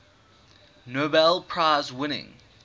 nobel prize winning